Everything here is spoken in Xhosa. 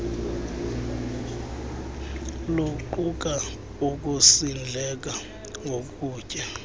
luquka ukusindleka ngokutya